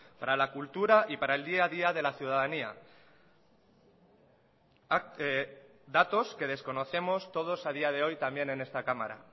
para la cultura y para el día a día de la ciudadanía datos que desconocemos todos a día de hoy también en esta cámara